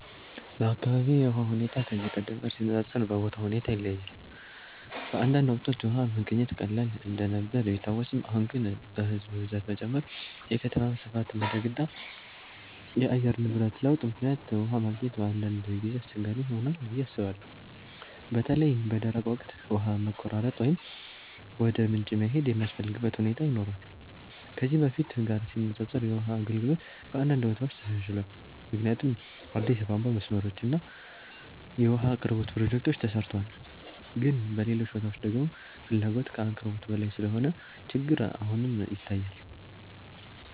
በአካባቢዬ የውሃ ሁኔታ ከዚህ ቀደም ጋር ሲነፃፀር በቦታው ሁኔታ ይለያያል። በአንዳንድ ወቅቶች ውሃ መገኘት ቀላል እንደነበር ቢታወስም፣ አሁን ግን በሕዝብ ብዛት መጨመር፣ የከተማ ስፋት ማደግ እና የአየር ንብረት ለውጥ ምክንያት ውሃ ማግኘት በአንዳንድ ጊዜ አስቸጋሪ ሆኗል ብዬ አስባለሁ። በተለይ በደረቅ ወቅት ውሃ መቆራረጥ ወይም ወደ ምንጭ መሄድ የሚያስፈልግበት ሁኔታ ይኖራል። ከዚህ በፊት ጋር ሲነፃፀር የውሃ አገልግሎት በአንዳንድ ቦታዎች ተሻሽሏል፣ ምክንያቱም አዲስ የቧንቧ መስመሮች እና የውሃ አቅርቦት ፕሮጀክቶች ተሰርተዋል። ግን በሌሎች ቦታዎች ደግሞ ፍላጎት ከአቅርቦት በላይ ስለሆነ ችግር አሁንም ይታያል።